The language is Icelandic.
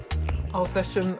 á þessum